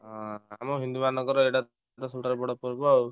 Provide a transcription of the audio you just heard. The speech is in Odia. ହଁ ଆମ ହିନ୍ଦୁମାନଙ୍କର ଏଇଟା ସବୁଠାରୁ ବଡ ପର୍ବ ଆଉ।